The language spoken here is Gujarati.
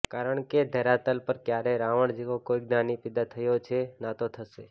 કારણકે ધરાતલ પર ક્યારેય રાવણ જેવો કોઈ જ્ઞાની પેદા થયો છે ના તો થશે